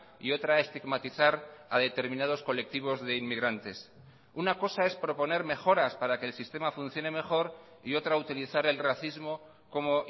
y otra estigmatizar a determinados colectivos de inmigrantes una cosa es proponer mejoras para que el sistema funcione mejor y otra utilizar el racismo como